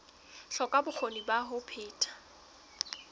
hloka bokgoni ba ho phetha